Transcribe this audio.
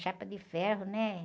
Chapa de ferro, né?